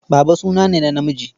Baba suna ne na namiji.